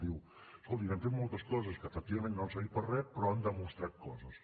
diu escolti hem fet moltes coses que efectivament no han servit per a re però han demostrat coses